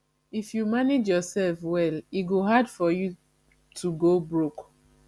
if you manage yoursef well e go hard for you to go broke